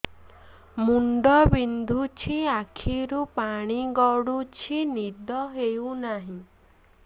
ମୁଣ୍ଡ ବିନ୍ଧୁଛି ଆଖିରୁ ପାଣି ଗଡୁଛି ନିଦ ହେଉନାହିଁ